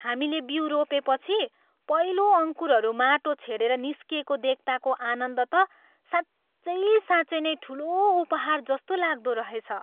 हामीले बिउ रोपेपछि पहिलो अङ्कुरहरू माटो छेडेर निस्किएको देख्ताको आनन्द त साँच्चै साँच्चै नै ठुलो उपहार जस्तो लाग्दो रहेछ।